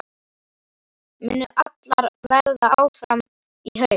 Munu allar verða áfram í haust?